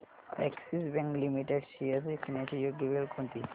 Axis Bank Limited shares विकण्याची योग्य वेळ कोणती